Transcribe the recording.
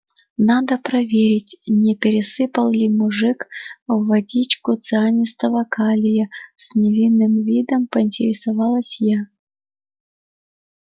надо проверить не пересыпал ли мужик в водичку цианистого калия с невинным видом поинтересовалась я